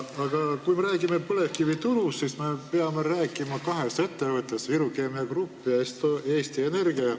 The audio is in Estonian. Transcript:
Aga kui me räägime põlevkiviturust, siis me peame rääkima kahest ettevõttest: Viru Keemia Grupp ja Eesti Energia.